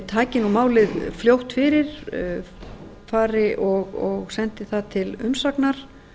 taki málið fljótt fyrir sendi það til umsagna